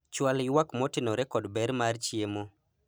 chwal ywak motenore kod ber mar chiemo